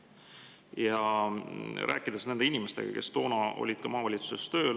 nende inimestega, kes toona olid ka maavalitsuses tööl.